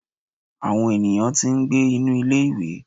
awọn eníyan tí n gbé inú ilé ìwé.